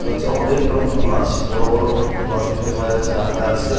এটা হচ্ছে অনেক রকম মাছ বড় বড় মাছ দেখতে পাওয়া যাচ্ছে রাখা আছে।